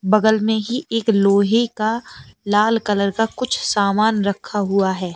बगल में ही एक लोहे का लाल कलर का कुछ सामान रखा हुआ है।